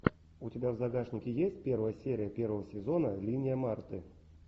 у тебя в загашнике есть первая серия первого сезона линия марты